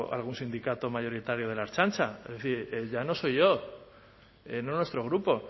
algún sindicato mayoritario de la ertzaintza es decir ya no soy yo no nuestro grupo